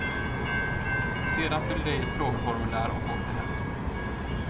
Sedan fyllde jag i ett frågeformulär och åkte hem.